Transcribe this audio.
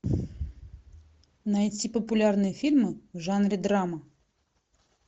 найти популярные фильмы в жанре драма